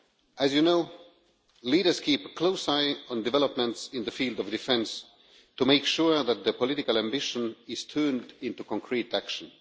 As you know, leaders keep a close eye on developments in the field of defence to make sure that political ambition is turned into concrete action.